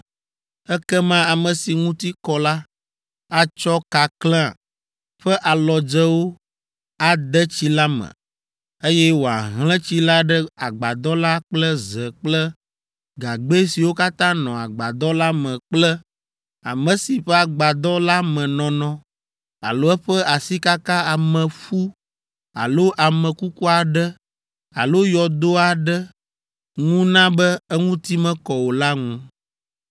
Ekema ame si ŋuti kɔ la, atsɔ kakle ƒe alɔdzewo ade tsi la me, eye wòahlẽ tsi la ɖe agbadɔ la kple ze kple gagbɛ siwo katã nɔ agbadɔ la me kple ame si ƒe agbadɔ la me nɔnɔ alo eƒe asikaka ameƒu alo ame kuku aɖe alo yɔdo aɖe ŋu na be eŋuti mekɔ o la ŋu.